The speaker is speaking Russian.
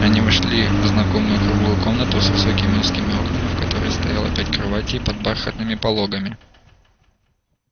они вошли в знакомую круглую комнату с высокими узкими окнами в которой стояло пять кроватей под бархатными пологами